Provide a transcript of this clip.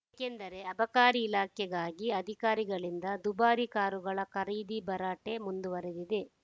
ಏಕೆಂದರೆ ಅಬಕಾರಿ ಇಲಾಖೆಗಾಗಿ ಅಧಿಕಾರಿಗಳಿಂದ ದುಬಾರಿ ಕಾರುಗಳ ಖರೀದಿ ಭರಾಟೆ ಮುಂದುವರೆದಿದೆ